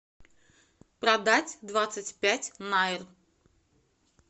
продать двадцать пять найр